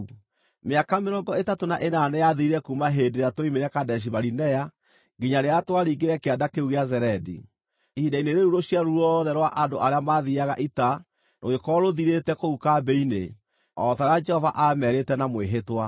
Mĩaka mĩrongo ĩtatũ na ĩnana nĩyathirire kuuma hĩndĩ ĩrĩa tuoimire Kadeshi-Barinea nginya rĩrĩa twaringire Kĩanda kĩu gĩa Zeredi. Ihinda-inĩ rĩu rũciaro ruothe rwa andũ arĩa maathiiaga ita rũgĩkorwo rũthirĩte kũu kambĩ-inĩ, o ta ũrĩa Jehova aamerĩte na mwĩhĩtwa.